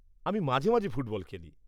আমি মাঝে মাঝে ফুটবল খেলি।